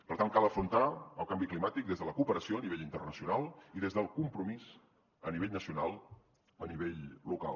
per tant cal afrontar el canvi climàtic des de la cooperació a nivell internacional i des del compromís a nivell nacional a nivell local